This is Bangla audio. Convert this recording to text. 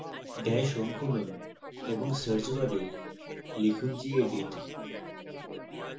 dash home খুলুন এবং search bar লিখুন gedit